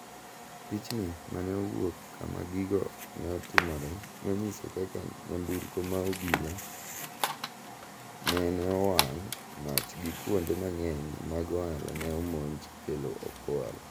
Pichni mane owuok kama gigo ne timore nonyiso kaka nyamburko mar obila nene owang' mach gi kuonde mang'eny mag ohala ne omonj kelo okwal